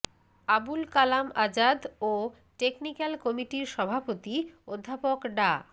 আবুল কালাম আজাদ ও টেকনিক্যাল কমিটির সভাপতি অধ্যাপক ডা